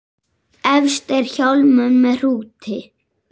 Efst er hjálmur með hrúti.